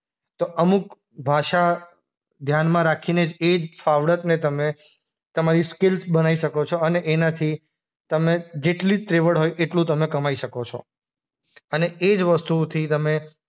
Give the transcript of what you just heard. તો અમુક ભાષા ધ્યાનમાં રાખીને જ એજ ફાવડતને તમે તમારી સ્કીલ્સ બનાય શકો છો અને એનાથી તમે જેટલી ત્રેવડ હોય એટલું તમે કમાય શકો છો. અને એ જ વસ્તુથી તમે